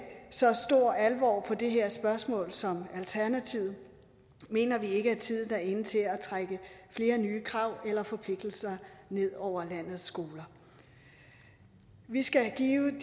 så stor alvor på det her spørgsmål som alternativet mener vi ikke at tiden er inde til at trække flere nye krav eller forpligtelser ned over landets skoler vi skal give